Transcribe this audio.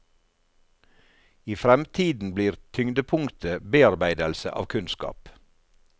I fremtiden blir tyngdepunktet bearbeidelse av kunnskap.